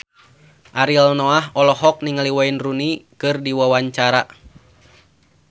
Ariel Noah olohok ningali Wayne Rooney keur diwawancara